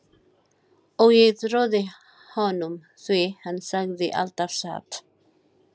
Og ég trúði honum því hann sagði alltaf satt.